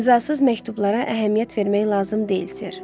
İmzasız məktublara əhəmiyyət vermək lazım deyil, Ser.